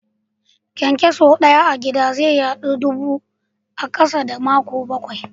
Kyankyaso Daya a gida ze yadu zuwa dubu a kasa da makonni bakwai.